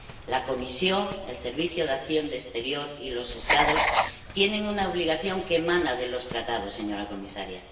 La Comisión, el Servicio Europeo de Acción de Exterior y los Estados tienen una obligación que emana de los Tratados, señora comisaria.